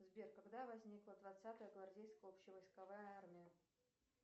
сбер когда возникла двадцатая гвардейская общевойсковая армия